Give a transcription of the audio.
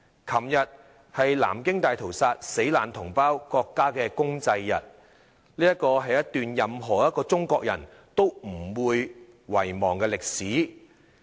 昨天是南京大屠殺死難同胞國家公祭日，這是一段任何一個中國人都不會遺忘的歷史。